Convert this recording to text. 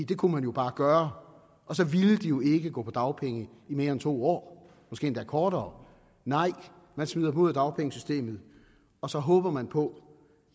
det kunne man jo bare gøre og så ville de jo ikke gå på dagpenge i mere end to år måske endda kortere nej man smider dem ud af dagpengesystemet og så håber man på